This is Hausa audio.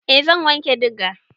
Eh zan wanke diga.